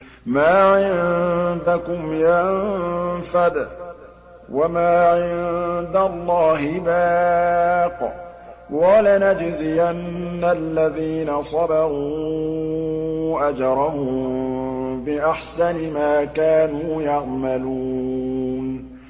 مَا عِندَكُمْ يَنفَدُ ۖ وَمَا عِندَ اللَّهِ بَاقٍ ۗ وَلَنَجْزِيَنَّ الَّذِينَ صَبَرُوا أَجْرَهُم بِأَحْسَنِ مَا كَانُوا يَعْمَلُونَ